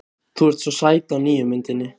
Þú ert svo sæt á nýju myndinni.